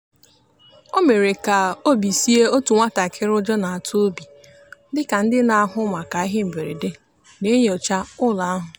o mere ka obi sie otu nwatakịrị ụjọ na-atụ obi dị ka ndị na-ahụ maka ihe mberede na-enyocha ụlọ ahụ.